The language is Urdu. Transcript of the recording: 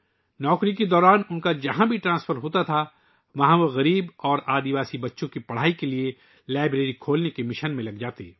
ملازمت کے دوران ، جہاں بھی ان کا تبادلہ ہوتا وہ غریب اور قبائلی بچوں کی تعلیم کے لئے لائبریری کھولنے کے مشن میں لگ جاتے